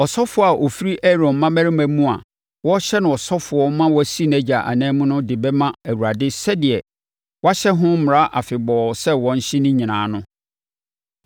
Ɔsɔfoɔ a ɔfiri Aaron mmammarima mu a wɔrehyɛ no ɔsɔfoɔ ma wasi nʼagya anan no de bɛma Awurade sɛdeɛ wɔahyɛ ho mmara afebɔɔ sɛ wɔnhye ne nyinaa no.